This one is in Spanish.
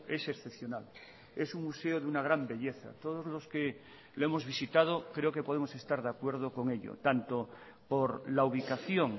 es excepcional es un museo de una gran belleza todos los que lo hemos visitado creo que podemos estar de acuerdo con ello tanto por la ubicación